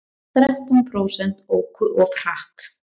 Þrettán prósent óku of hratt